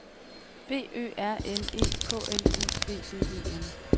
B Ø R N E K L U B B E N